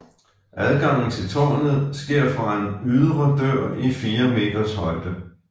Adgangen til tårnet sker fra en ydre dør i fire meters højde